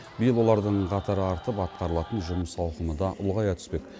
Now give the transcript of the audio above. биыл олардың қатары артып атқарылатын жұмыс ауқымы да ұлғая түспек